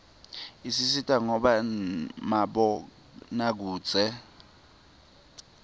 isisita ngabo mabonakudze